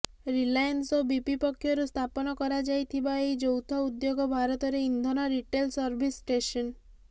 Reliance ଓ BP ପକ୍ଷରୁ ସ୍ଥାପନ କରାଯାଇଥିବା ଏହି ଯୌଥ ଉଦ୍ୟୋଗ ଭାରତରେ ଇନ୍ଧନ ରିଟେଲ ସର୍ଭିସ ଷ୍ଟେସନ